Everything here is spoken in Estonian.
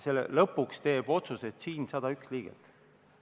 Lõpuks teevad otsuse 101 Riigikogu liiget.